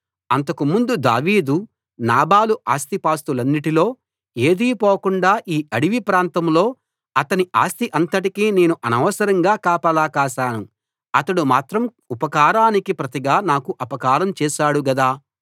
అంతకుముందు దావీదు నాబాలు ఆస్తిపాస్తులన్నింటిలో ఏదీ పోకుండా ఈ అడివి ప్రాంతంలో అతని ఆస్తి అంతటికీ నేను అనవసరంగా కాపలా కాశాను అతడు మాత్రం ఉపకారానికి ప్రతిగా నాకు అపకారం చేశాడు గదా